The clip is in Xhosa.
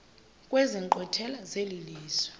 kwezi nkqwithela zelizwe